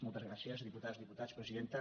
moltes gràcies diputades diputats presidenta